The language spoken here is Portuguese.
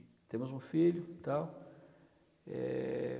E temos um filho e tal. É...